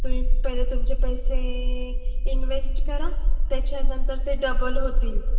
तुम्ही पहिले तुमचे पैसे invest करा. त्याच्यानंतर ते double होतील.